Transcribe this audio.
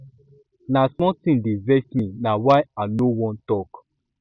na small tin dey vex me na why i no wan tok